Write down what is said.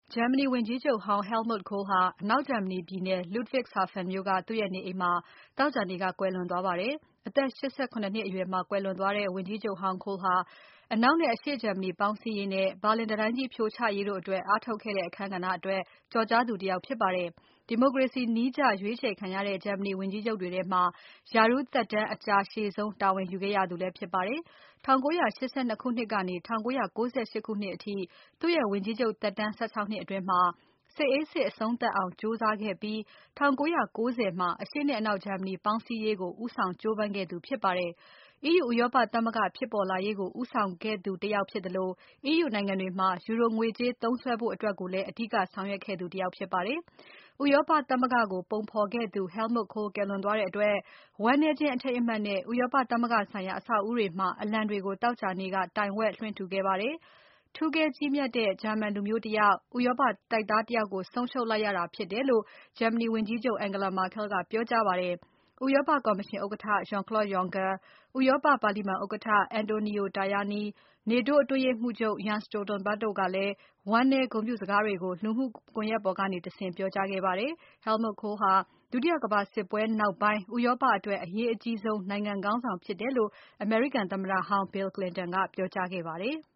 ဂျာမနီဝန်ကြီးချုပ်ဟောင်း Helmut Kohl ဟာ အနောက်ဂျာမနီပြည်နယ် Ludwigshafen မြို့က သူ့ရဲ့နေအိမ်မှာ သောကြာနေ့က ကွယ်လွန်သွားပါတယ်။ အသက် ၈၇ နှစ်အရွယ်မှာ ကွယ်လွန်သွားတဲ့ ဝန်ကြီးချုပ်ဟောင်း Kohl ဟာ အနောက်နဲ့ အရှေ့ဂျာမနီပေါင်းစည်းရေးနဲ့ ဘာလင်တံတိုင်းကြီး ဖြိုချရေးတို့အတွက် အားထုတ်ခဲ့တဲ့ အခန်းကဏ္ဍ အတွက်ကျော်ကြားသူ တယောက်ဖြစ်ပါတယ်။ ဒီမိုကရေစီနည်းကျရွေးချယ်ခံရတဲ့ ဂျာမနီဝန်ကြီးချုပ်တွေထဲမှာ ရာထူးသက်တမ်း အကြာရှည်ဆုံး တာဝန်ယူခဲ့ရသူလည်းဖြစ်ပါတယ်။ ၁၉၈၂ ခုနှစ်ကနေ ၁၉၉၈ ခုနှစ်အထိ သူ့ရဲ့ ဝန်ကြီးချုပ် သက်တမ်း ၁၆ နှစ်အတွင်း စစ်အေးစစ် အဆုံးသပ်အောင် ကြိုးစားခဲ့ပြီး ၁၉၉၀ မှာ အရှေ့နဲ့ အနောက်ဂျာမနီပေါင်းစည်းရေးကို ဦးဆောင်ကြိုးပမ်းခဲ့သူ ဖြစ်ပါတယ်။ EU ဥရောပသမဂ္ဂဖြစ်ပေါ်လာရေးကို ဦးဆောင်ခဲ့သူတယောက်ဖြစ်သလို EU နိုင်ငံတွေမှာ ယူရိုငွေကြေး သုံးစွဲဖို့အတွက်ကိုလည်း အဓိကဆောင်ရွက်ခဲ့သူတယောက်ဖြစ်ပါတယ်။ ဥရောပသမဂ္ဂကို ပုံဖော်ခဲ့သူ Helmut Kohl ကွယ်လွန်တဲ့အတွက် ဝမ်းနည်းခြင်း အထိမ်းအမှတ်နဲ့ ဥရောပသမဂ္ဂဆိုင်ရာ အဆောက်အဦးတွေမှာ အလံတွေကို သောကြာနေ့က တိုင်ဝက်လွှင့်ထူခဲ့ပါတယ်။ ထူးကဲကြီးမြတ်တဲ့ ဂျာမန်လူမျိုးတယောက်၊ ဥရောပတိုက်သားတယောက်ကို ဆုံးရှုံးလိုက်ရတာဖြစ်တယ်လို့ ဂျာမနီဝန်ကြီးချုပ် Angela Merkel ကပြောကြားခဲ့ပါတယ်။ ဥရောပကော်မရှင်ဥက္ကဋ္ဌ Jean-Claude Juncker ဥရောပပါလီမာန်ဥက္ကဋ္ဌ Antonio Tajani နေတိုးအတွင်းရေးမှူးချုပ် Jens Stoltenberg တို့ကလည်း ဝမ်းနည်းဂုဏ်ပြုစကားတွေကို လူမှုကွန်ယက်ပေါ်ကတဆင့် ပြောကြားခဲ့ကြပါတယ်။ Helmut Kohl ဟာဒုတိယကမ္ဘာစစ်ပွဲနောက်ပိုင်း ဥရောပအတွက် အရေးအကြီးဆုံး နိုင်ငံခေါင်းဆောင်ဖြစ်တယ်လို့ အမေရိကန်သမ္မတဟောင်း Bill Clinton ကပြောကြားခဲ့ပါတယ်။